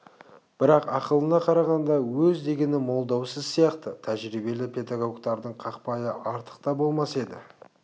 бірақ ақылына қарағанда өз дегені молдау сіз сияқты тәжірибелі педагогтардың қақпайы артық та болмас еді